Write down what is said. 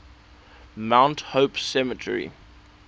mount hope cemetery